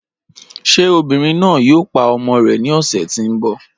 Ṣé obìnrin náà yòò pá ọmọ rè ní ọṣẹ̀ tí n bọ?